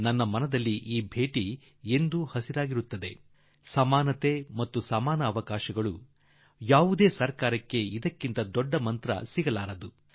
ನನ್ನ ಮನಸ್ಸಿಗೆ ಈ ಭೇಟಿ ಸದಾಕಾಲಕ್ಕೂ ನೆನಪಿನಲ್ಲಿರುತ್ತದೆ ಸಮಾನತೆ ಮತ್ತು ಸಮಾನ ಅವಕಾಶ ಯಾವುದೇ ಸರ್ಕಾರ ಮತ್ತು ಸಮಾಜದ್ದಾಗಲಿ ಇದಕ್ಕಿಂತ ದೊಡ್ಡ ಮಂತ್ರ ಇರಲಿಕ್ಕಿಲ್ಲ